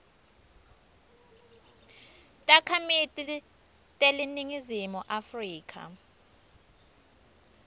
takhamiti teleningizimu afrika